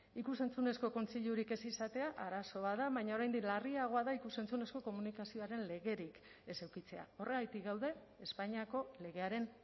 ikus entzunezko kontseilurik ez izatea arazo bat da baina oraindik larriagoa da ikus entzunezko komunikazioaren legerik ez edukitzea horregatik gaude espainiako legearen